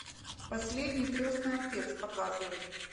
последний крестный отец показывай